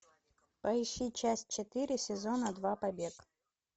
поищи часть четыре сезона два побег